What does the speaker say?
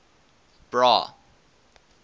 bra